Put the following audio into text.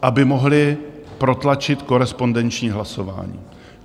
Aby mohli protlačit korespondenční hlasování.